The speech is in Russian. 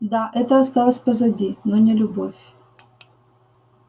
да это осталось позади но не любовь